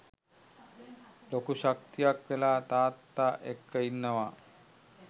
ලොකු ශක්තියක් වෙලා තාත්තා එක්ක ඉන්නවා.